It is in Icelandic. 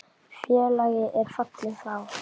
Félagi er fallinn frá.